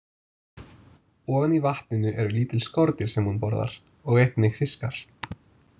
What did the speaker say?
Ofan í vatninu eru lítil skordýr sem hún borðar og einnig fiskar.